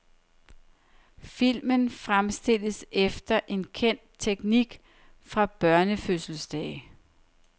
Filmen fremstilles efter en kendt teknik fra børnefødselsdage.